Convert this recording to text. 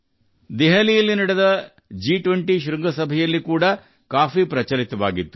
ದೆಹಲಿಯಲ್ಲಿ ನಡೆದ ಜಿ 20 ಶೃಂಗಸಭೆಯಲ್ಲೂ ಕಾಫಿ ಜನಪ್ರಿಯತೆ ಪಡೆಯಿತು